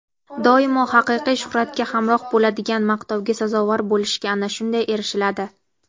Doimo haqiqiy shuhratga hamroh bo‘ladigan maqtovga sazovor bo‘lishga ana shunday erishiladi.